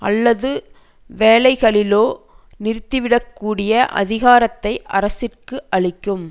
அல்லது சில வேளைகளிலோ நிறுத்திவிடக்கூடிய அதிகாரத்தை அரசிற்கு அளிக்கும்